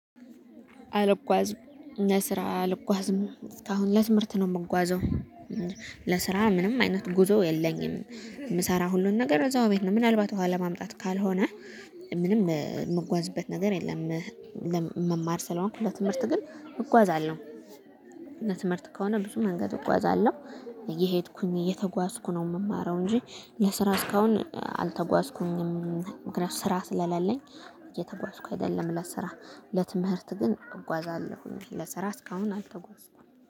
አልጓዝም ለስራ አልጓዝም እስካሁን ለትምህርት ነው የምጓዘው ለስራ ምንም አይነት ጉዞ የለኝም የምሰራ ሁሉን ነገር እዛው ቤት ነው ምናልባት ውሃ ለማምጣት ካልሆነ ምንም የምጓዝበት ነገር የለም። መማር ስለሆንኩ ለትምህርት ግን እጓዛለሁ። እና ትምህርት ከሆነ ብዙ መንገድ እጓዛለሁ። እየሄድኩኝ እየተጓዝኩ ነው የምማረው እንጂ ለስራ እስካሁን አልተጓዝኩኝም ምክንያቱም ስራ ስለሌለኝ እየተጓዝኩ አይደለም ለስራ። ለትምህርት ግን እጓዛለሁኝ ለስራ እስካሁን አልተጓዝኩም።